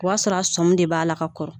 O y'a sɔrɔ a sɔm de b'a la ka kɔrɔ